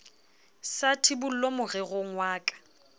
sa tshibollo morerong wa ka